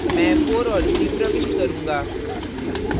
मैं 4 और 3 प्रविष्ट करूँगा